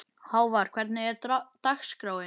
Hávar, hvernig er dagskráin?